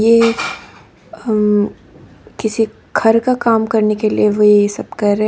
ये किसी घर का काम करने के लिए वो ये सब कर रहे हैं।